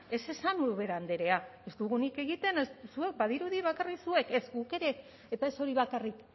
ez esan ubera andrea ez dugunik egiten zuek badirudi bakarrik zuek ez guk ere eta ez hori bakarrik